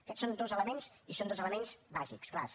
aquests són dos elements i són dos elements bàsics clars